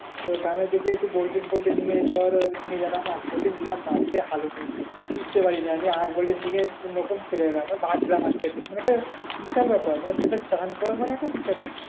তো গ্রামেরদিকে বাপরে টিকতে পারি না মানে একটা বিশাল ব্যাপার মানে চান করা মানে একটা বিশাল ব্যাপার।